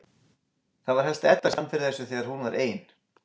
Það var helst Edda sem fann fyrir þessu þegar hún var ein.